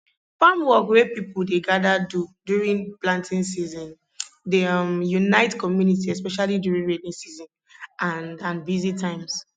farm work wey people dey gather do during planting season dey um unite community especially during rainy season and and busy times